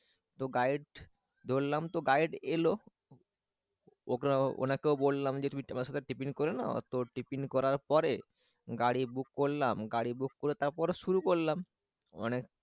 Guide ধরলাম তো guide এলো ওনাকেও বললাম যে তুমি আমার সাথে টিফিন করে নাও তো টিফিন করার পরে গাড়ি বুক করলাম গাড়ি বুক করে তারপর শুরু করলাম।